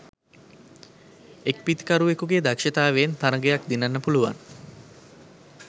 එක් පිතිකරුවෙකුගේ දක්ෂතාවයෙන් තරගයක් දිනන්න පුළුවන්